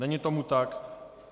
Není tomu tak.